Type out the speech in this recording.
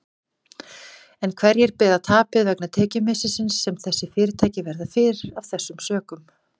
En hverjir bera tapið vegna tekjumissisins sem þessi fyrirtæki verða fyrir af þessum sökum?